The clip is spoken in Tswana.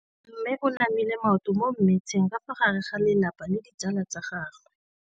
Mme o namile maoto mo mmetseng ka fa gare ga lelapa le ditsala tsa gagwe.